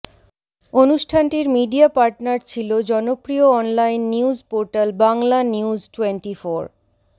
অনুষ্ঠানটির media partner ছিলো জনপ্রিয় অনলাইন নিউজ পোর্টাল বাংলানিউজটোয়েন্টিফোর